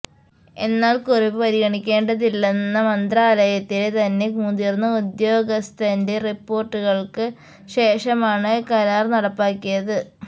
എന്നാല് കുറിപ്പ് പരിഗണിക്കേണ്ടതില്ലെന്ന മന്ത്രാലയയത്തിലെ തന്നെ മുതിര്ന്ന ഉദ്യോഗസ്ഥന്റെ റിപോര്ട്ടുകള്ക്ക് ശേഷമാണ് കരാര് നടപ്പാക്കിയത്